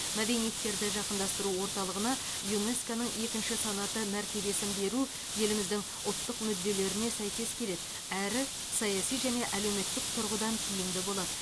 мәдениеттерді жақындастыру орталығына юнеско ның екінші санаты мәртебесін беру еліміздің ұлттық мүдделеріне сәйкес келеді әрі саяси және әлеуметтік тұрғыдан тиімді болады